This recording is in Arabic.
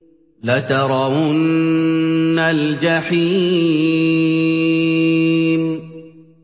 لَتَرَوُنَّ الْجَحِيمَ